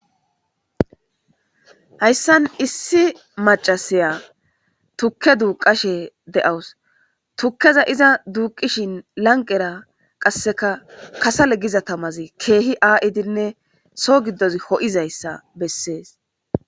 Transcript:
Hayssan issi maccasiya tuke duuqashe de7awus. Tukeza iza duuqishin lanqera qasekka kasale giza tamazi keehi a7idinne soo gidozi ho7idayssa besees.